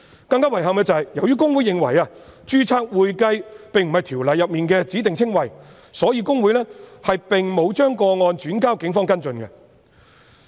更遺憾的是，由於公會認為"註冊會計"並非《條例》的指定稱謂，所以公會並沒有將有關個案轉交警方跟進。